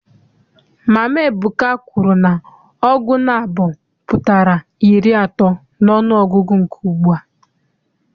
Mama Ebuka kwuru na ọgụ naabọ pụtara iri atọ n'ọnụọgụgụ nke ugbua.